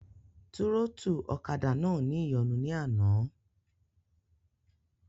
Túrọ́tù ọ̀kadà náà ní ìyọnu ní àná